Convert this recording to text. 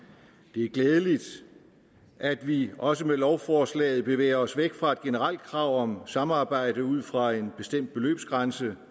det er glædeligt at vi også med lovforslaget bevæger os væk fra et generelt krav om samarbejde ud fra en bestemt beløbsgrænse